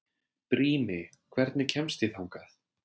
Brími, hvernig kemst ég þangað?